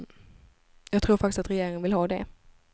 Jag tror faktiskt att regeringen vill ha det.